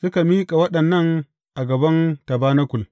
Suka miƙa waɗannan a gaban tabanakul.